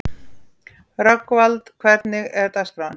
Rögnvald, hvernig er dagskráin?